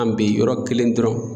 An bi yɔrɔ kelen dɔrɔn